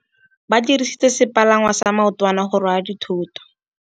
Ba dirisitse sepalangwasa maotwana go rwala dithôtô.